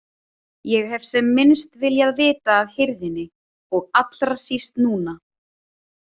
Ég hef sem minnst viljað vita af hirðinni og allra síst núna.